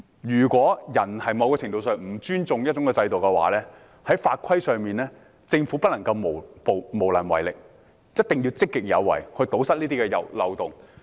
如果人在某程度上不尊重一個制度的話，在法規上，政府不能夠無能為力，一定要積極有為，以堵塞這些漏洞。